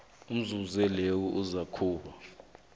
inzuzo leyo izakuba